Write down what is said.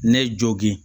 Ne jogin